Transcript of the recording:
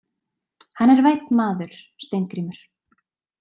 Hann er vænn maður, Steingrímur.